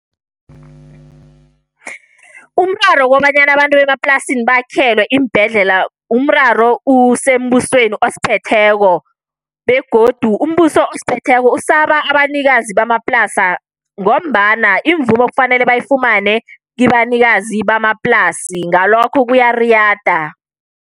Umraro wokobanyana abantu bemaplasini bakhelwe iimbhedlela. Umraro usembusweni osiphetheko, begodu umbuso esiphetheko usaba abanikazi bamaplasa, ngombana imvumo kufanele bayifumane kibanikazi bamaplasi ngalokho kuyariyada.